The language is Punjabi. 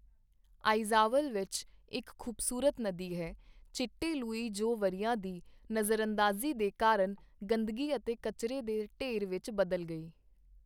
ਆਈਜਵਾਲ ਵਿੱਚ ਇੱਕ ਖੂਬਸੂਰਤ ਨਦੀ ਹੈ ਚਿੱਟੇਲੂਈ ਜੋ ਵਰ੍ਹਿਆਂ ਦੀ ਨਜ਼ਰਅੰਦਾਜ਼ੀ ਦੇ ਕਾਰਣ ਗੰਦਗੀ ਅਤੇ ਕਚਰੇ ਦੇ ਢੇਰ ਵਿੱਚ ਬਦਲ ਗਈ।